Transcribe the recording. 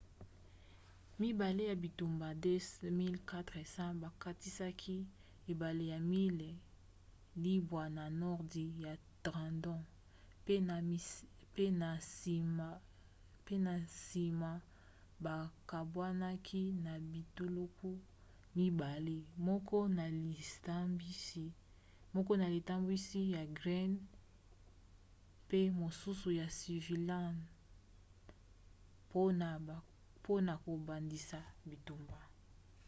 mibale ya bitumba 2 400 bakatisaki ebala ba miles libwa na nordi ya trenton pe na nsima bakabwanaki na bituluku mibale moko na litambwisi ya greene pe mosusu ya sullivan mpona kobandisa bitumba